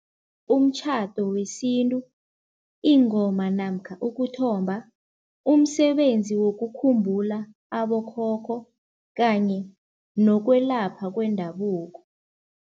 Umtjhado wesintu, ingoma namkha ukuthomba, umsebenzi wokukhumbula abokhokho kanye nokwelapha kwendabuko.